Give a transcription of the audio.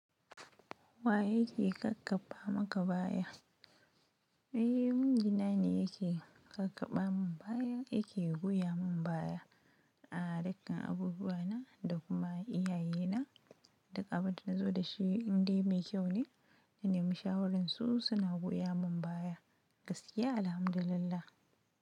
Wa yake kakkafa maka baya? Eh, miji na ne yake kakkaɓa mun baya, yake goya mun baya. A'a dukkan abubuwa na, da kuma iyaye na, duk abin da nazo da shi indai mai kyau ne, in naimi shawaran su suna goya mun baya, gaskiya alhamdulillah.